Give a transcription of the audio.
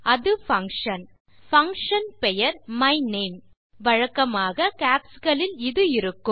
அது function function பெயர் மைனமே வழக்கமாக கேப்ஸ் களில் இது இருக்கும்